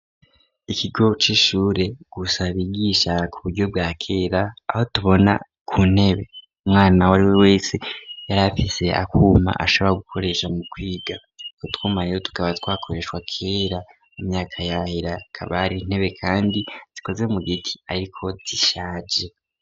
Ikigo c'ishure gifise abigisha ku buryo bwa kera aho tubona ku ntebe umwana wariwe wese yari afise akuma ashobora gukoresha mu kwiga; utwo twuma tukaba twakoreshwa kera mu myaka yahera akaba ari intebe kandi zikoze mu giti ariko zishaje.